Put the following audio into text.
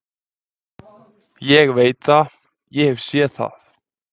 Ég veit það, ég hef séð það.